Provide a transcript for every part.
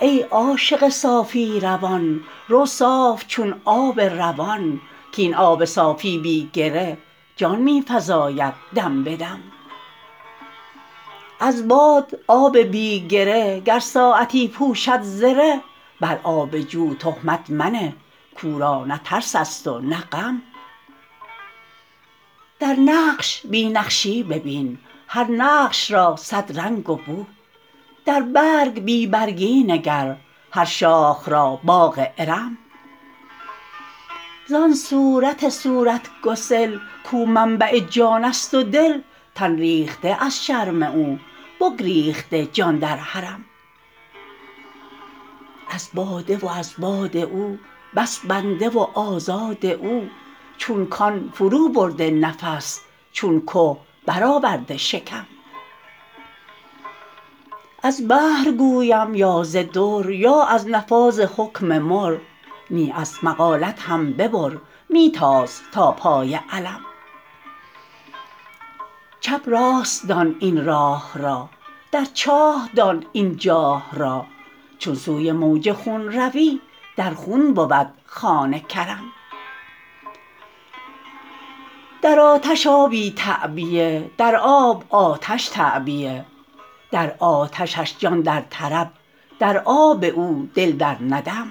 ای عاشق صافی روان رو صاف چون آب روان کاین آب صافی بی گره جان می فزاید دم به دم از باد آب بی گره گر ساعتی پوشد زره بر آب جو تهمت منه کو را نه ترس است و نه غم در نقش بی نقشی ببین هر نقش را صد رنگ و بو در برگ بی برگی نگر هر شاخ را باغ ارم زان صورت صورت گسل کو منبع جان است و دل تن ریخته از شرم او بگریخته جان در حرم از باده و از باد او بس بنده و آزاد او چون کان فروبر نفس چون که برآورده شکم از بحر گویم یا ز در یا از نفاذ حکم مر نی از مقالت هم ببر می تاز تا پای علم چپ راست دان این راه را در چاه دان این چاه را چون سوی موج خون روی در خون بود خوان کرم در آتش آبی تعبیه در آب آتش تعبیه در آتشش جان در طرب در آب او دل در ندم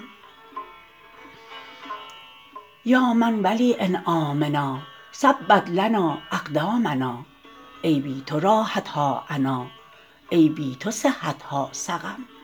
یا من ولی انعامنا ثبت لنا اقدامنا ای بی تو راحت ها عنا ای بی تو صحت ها سقم